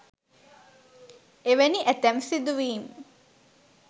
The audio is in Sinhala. එවැනි ඇතැම් සිදුවීම්